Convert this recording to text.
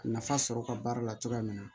Nafa sɔrɔ ka baara la cogoya min na